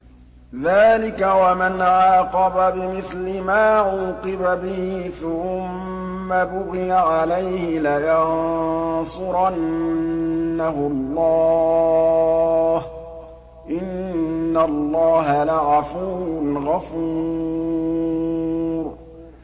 ۞ ذَٰلِكَ وَمَنْ عَاقَبَ بِمِثْلِ مَا عُوقِبَ بِهِ ثُمَّ بُغِيَ عَلَيْهِ لَيَنصُرَنَّهُ اللَّهُ ۗ إِنَّ اللَّهَ لَعَفُوٌّ غَفُورٌ